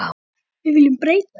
Við viljum breyta þessu.